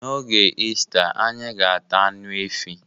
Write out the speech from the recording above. N'oge Ista, anyi ga-ata anụ efi